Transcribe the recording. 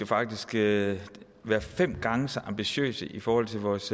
faktisk skal være fem gange så ambitiøse i forhold til vores